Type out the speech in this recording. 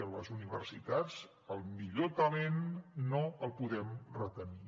a les universitats el millor talent no el podem retenir